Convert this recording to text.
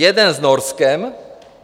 Jeden s Norskem.